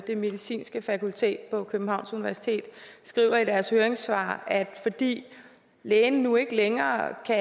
det medicinske fakultet på københavns universitet skriver i deres høringssvar at fordi lægerne nu ikke længere kan